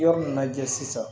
Yɔrɔ min na jɛ sisan